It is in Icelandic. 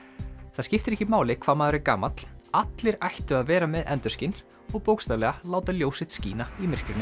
það skiptir ekki máli hvað maður er gamall allir ættu að vera með endurskin og bókstaflega láta ljós sitt skína í myrkrinu